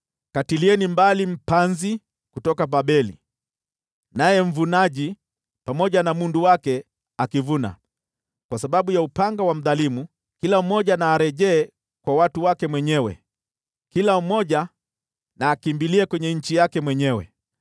Katilieni mbali mpanzi kutoka Babeli, pamoja na mvunaji na mundu wake akivuna. Kwa sababu ya upanga wa mdhalimu kila mmoja na arejee kwa watu wake mwenyewe, kila mmoja na akimbilie kwenye nchi yake mwenyewe.